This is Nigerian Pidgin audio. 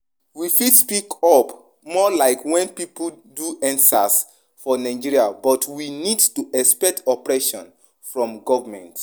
We fit speak up more like when pipo do endsars for Nigeria but we need to expect oppression from government